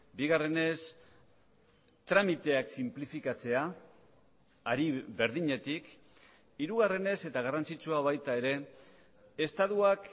bigarrenez tramiteak sinplifikatzea hari berdinetik hirugarrenez eta garrantzitsua baita ere estatuak